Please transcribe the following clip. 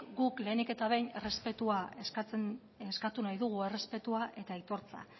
guk lehenik eta behin errespetua eskatu nahi dugu errespetua eta aitortza